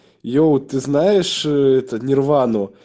йоу ты знаешь это нирвану